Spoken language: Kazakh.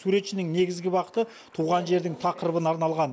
суретшінің негізі бағыты туған жердің тақырыбына арналған